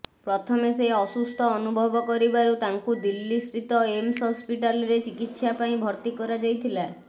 ପ୍ରଥମେ ସେ ଅସୁସ୍ଥ ଅନୁଭବ କରିବାରୁ ତାଙ୍କୁ ଦିଲ୍ଲୀସ୍ଥିତ ଏମ୍ସ ହସ୍ପିଟାଲରେ ଚିକିତ୍ସା ପାଇଁ ଭର୍ତି କରାଯାଇଥିଲା